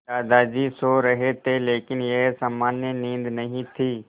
दादाजी सो रहे थे लेकिन यह सामान्य नींद नहीं थी